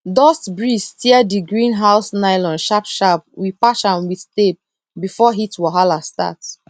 dust breeze tear the greenhouse nylon sharp sharp we patch am with tape before heat wahala start